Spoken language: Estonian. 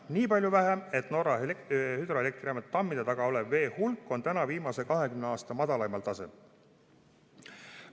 Nii palju vähem, et Norra hüdroelektrijaamade tammide taga oleva vee hulk on viimase 20 aasta madalaimal tasemel.